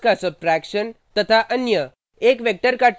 दो वेक्टर्स का सब्ट्रैक्शन तथा अन्य